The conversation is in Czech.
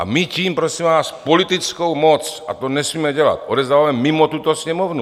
A my tím, prosím vás, politickou moc, a to nesmíme dělat, odevzdáváme mimo tuto Sněmovnu.